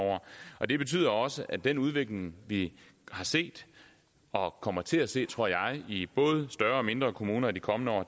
og det betyder også at den udvikling vi har set og kommer til at se tror jeg i både større og mindre kommuner i de kommende år